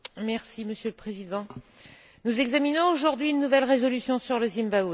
Monsieur le Président, nous examinons aujourd'hui une nouvelle résolution sur le Zimbabwe.